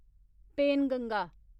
Penganga